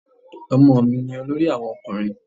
Ọmọ mi ni olórí àwọn ọkùnrin.